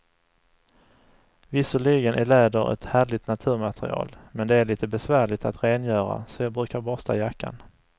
Visserligen är läder ett härligt naturmaterial, men det är lite besvärligt att rengöra, så jag brukar borsta jackan.